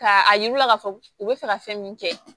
Ka a yir'u la k'a fɔ u bɛ fɛ ka fɛn min kɛ